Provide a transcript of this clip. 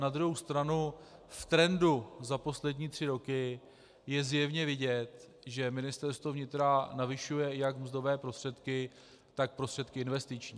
Na druhou stranu v trendu za poslední tři roky je zjevně vidět, že Ministerstvo vnitra navyšuje jak mzdové prostředky, tak prostředky investiční.